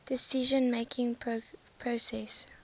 decision making process